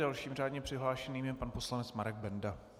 Dalším řádně přihlášeným je pan poslanec Marek Benda.